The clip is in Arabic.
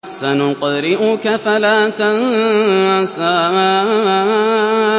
سَنُقْرِئُكَ فَلَا تَنسَىٰ